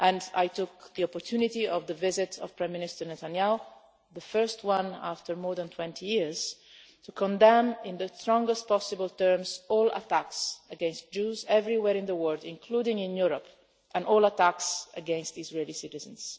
I took the opportunity of the visit of Prime Minister Netanyahu the first one for more than 20 years to condemn in the strongest possible terms all attacks against Jews everywhere in the world, including in Europe, and all attacks against Israeli citizens.